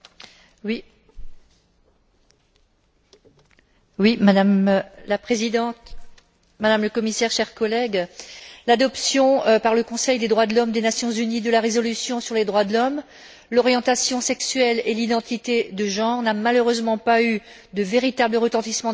Madame la Présidente, Madame la Commissaire, chers collègues, l'adoption par le Conseil des droits de l'homme des Nations unies de la résolution sur les droits de l'homme, l'orientation sexuelle et l'identité de genre n'a malheureusement pas eu de véritable retentissement dans la presse et pourtant l'adoption de cette résolution constitue bien